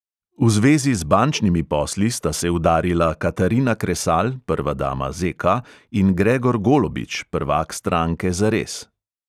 V zvezi z bančnimi posli sta se udarila katarina kresal, prva dama ZK, in gregor golobič, prvak stranke zares.